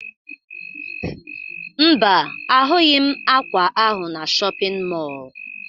Mba, ahụghị m ákwà ahụ na shọpịn mọọ